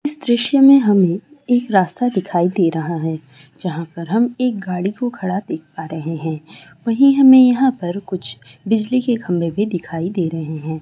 इस दृश्य में हमें एक रास्ता दिखाई दे रहा है जहां पे हम एक गाड़ी को खड़ा देख पा रहे हैं वही हमें यहां पर कुछ बिजली के खंभे भी दिखाई दे रहे हैं।